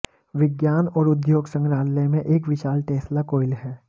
विज्ञान और उद्योग संग्रहालय में एक विशाल टेस्ला कॉइल है